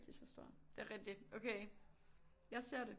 Lige så stor det er rigtig okay jeg ser det